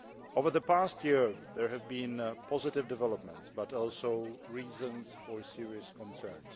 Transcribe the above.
Over the past year, there have been positive developments but also reasons for serious concern.